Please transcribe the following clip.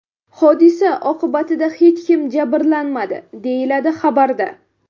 Hodisa oqibatida hech kim jabrlanmadi”, deyiladi xabarda.